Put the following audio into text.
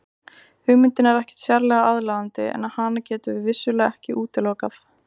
Hugmyndin er ekkert sérlega aðlaðandi en hana getum við vissulega ekki útilokað.